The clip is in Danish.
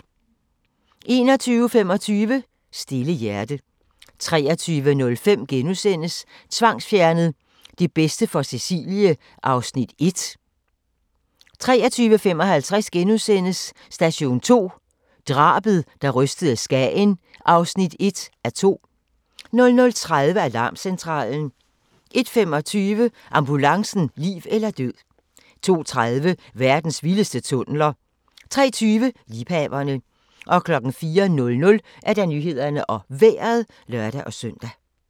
21:25: Stille hjerte 23:05: Tvangsfjernet: Det bedste for Cecilie (1:2)* 23:55: Station 2: Drabet, der rystede Skagen (1:2)* 00:30: Alarmcentralen 01:25: Ambulancen - liv eller død 02:30: Verdens vildeste tunneler 03:20: Liebhaverne 04:00: Nyhederne og Vejret (søn-tor)